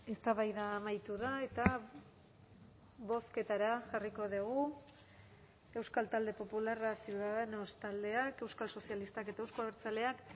eztabaida amaitu da eta bozketara jarriko dugu euskal talde popularra ciudadanos taldeak euskal sozialistak eta euzko abertzaleak